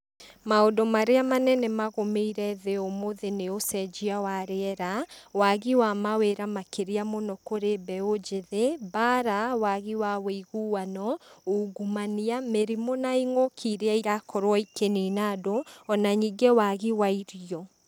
Maũndũ marĩa manene magũmĩire thĩ ũmũthĩ nĩ ũcenjia wa rĩera, wagi wa mawĩra makĩria mũno kũrĩ mbeũ njĩthĩ, mbara, wagi wa ũiguano, ũngumania, mĩrimũ na ing'ũki iria irakorwo ikĩnina andũ, ona ningĩ wagi wa irio.